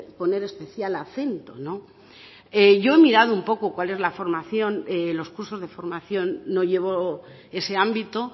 poner especial acento yo he mirado un poco cuál es la formación los cursos de formación no llevo ese ámbito